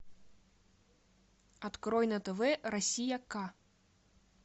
открой на тв россия к